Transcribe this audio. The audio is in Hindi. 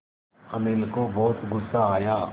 अनिल को बहुत गु़स्सा आया